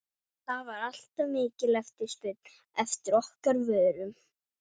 það var alltaf mikil eftirspurn eftir okkar vörum.